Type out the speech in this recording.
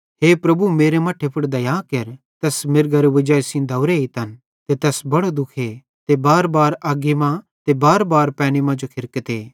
हे प्रभु मेरे मट्ठे पुड़ दया केर तैस मिरगरी वजाई सेइं दौवरे एइतन ते तैस बड़ो दुखे ते बारबार अग्गी मां ते बारबार पैनी मांजो खिरकते